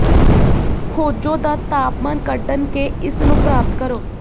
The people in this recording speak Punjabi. ਖੋਜੋ ਦਾ ਤਾਪਮਾਨ ਕੱਢਣ ਕੇ ਇਸ ਨੂੰ ਪ੍ਰਾਪਤ ਕਰੋ